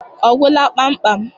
Ọ gwụla kpamkpam?